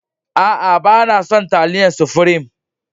A'a, ba na son talliyan sufreme.